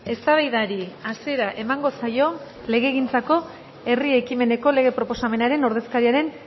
eztabaidari hasiera emango zaio legegintzako herri ekimeneko lege proposamenaren ordezkariaren